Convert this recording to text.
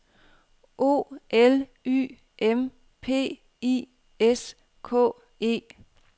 O L Y M P I S K E